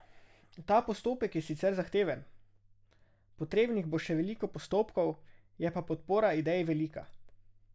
Ta postopek je sicer zahteven, potrebnih bo še veliko postopkov, je pa podpora ideji velika.